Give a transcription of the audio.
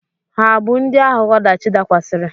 Ha abụ ndị ahụ ọdachi dakwasịrị?